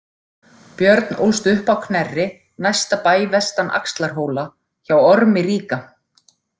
Björn ólst upp á Knerri, næsta bæ vestan Axlarhóla, hjá Ormi ríka.